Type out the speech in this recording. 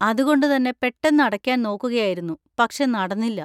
അതുകൊണ്ട് തന്നെ പെട്ടെന്നു അടയ്ക്കാൻ നോക്കുകയായിരുന്നു, പക്ഷെ നടന്നില്ല.